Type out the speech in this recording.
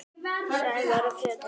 Sævar og Pétur.